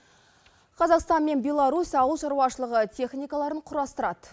қазақстан мен беларусь ауылшаруашылығы техникаларын құрастырады